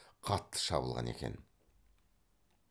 қатты шабылған екен